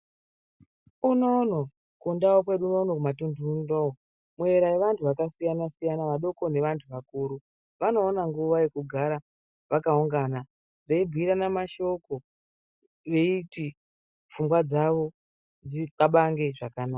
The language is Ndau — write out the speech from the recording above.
Unono kundau kwedu kumatundu unono korera vantu vakasiyana siyana vadoko nevanhu vakuru vanoona nguwa yekugara vakaungana veibhiirana mashoko veiti pfungwa dzawo dzikabangwe zvakanaka.